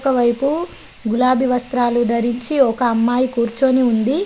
ఒకవైపు గులాబి వస్త్రాలు ధరించి ఒక అమ్మాయి కూర్చొని ఉంది.